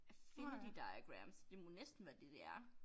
Affinity diagram så det må næsten være det det er